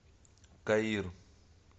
каир